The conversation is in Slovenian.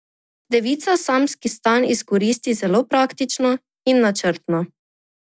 Devica samski stan izkoristi zelo praktično in načrtno.